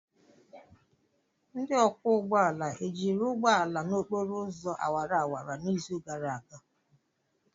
Ndị ọkwọ ụgbọala ejiri ụgbọ ala n'okporo ụzọ awara awara n'izu gara aga?